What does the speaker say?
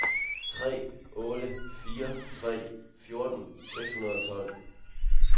tre otte fire tre fjorten seks hundrede og tolv